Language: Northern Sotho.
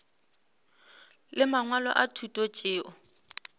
le mangwalo a thuto tšeo